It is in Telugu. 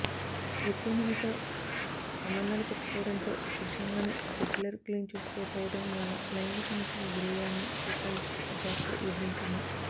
ఎక్కువమందితో సంబంధాలుపెట్టుకోవడంతో పురుషాంగాన్ని రెగ్యులర్ క్లీన్ చేసుకోకపోవడం వల్ల లైంగిక సమస్యకు గురయ్యారని సెక్సాలజిస్ట్ జాక్ కు వివరించింది